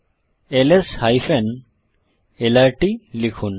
ls LRT লিখুন